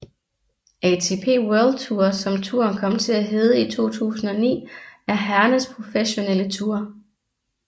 ATP World Tour som touren kom til at hedde i 2009 er herrernes professionelle tour